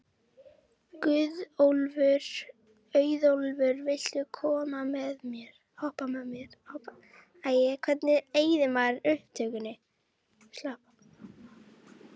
Auðólfur, viltu hoppa með mér?